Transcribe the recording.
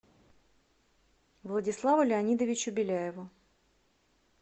владиславу леонидовичу беляеву